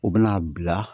U bɛna a bila